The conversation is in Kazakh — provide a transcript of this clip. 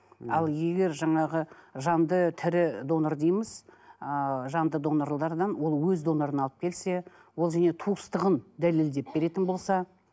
ал егер жаңағы жанды тірі донор дейміз ыыы жанды донорлардан ол өзі донорын алып келсе ол және туыстығын дәлелдеп беретін болса